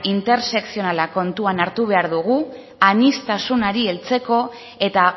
intersekzionala kontutan hartu behar dugu aniztasunari heltzeko eta